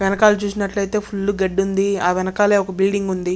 వెనకాల చూసినట్లయితే ఫుల్లు గడ్డుంది ఆ వెనకాలే ఒక బిల్డింగ్ ఉంది.